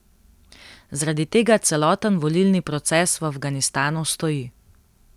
Zaradi tega celoten volilni proces v Afganistanu stoji.